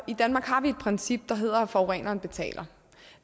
i danmark har vi et princip der hedder at forureneren betaler